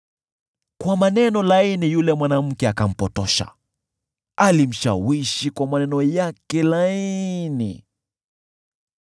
Kwa maneno laini yule mwanamke akampotosha; alimshawishi kwa maneno yake laini.